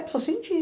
Precisa sentir.